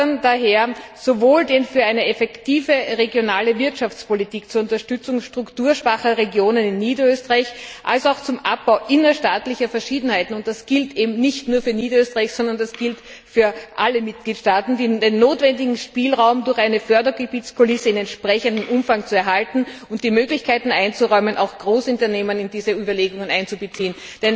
Wir fordern daher, sowohl den für eine effektive regionale Wirtschaftspolitik zur Unterstützung strukturschwacher Regionen in Niederösterreich als auch den zum Abbau innerstaatlicher Verschiedenheiten das gilt eben nicht nur für Niederösterreich, sondern das gilt für alle Mitgliedstaaten notwendigen Spielraum durch eine Fördergebietskulisse in entsprechendem Umfang zu erhalten und die Möglichkeiten einzuräumen, auch Großunternehmen in diese Überlegungen mit einzubeziehen.